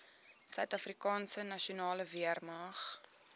suidafrikaanse nasionale weermag